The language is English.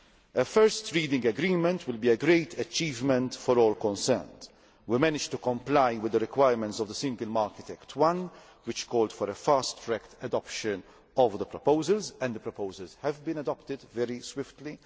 A first reading agreement will be a great achievement for all concerned. We managed to comply with the requirements of the Single Market Act I, which called for a fast track adoption of the proposals, and the proposals have been adopted very swiftly.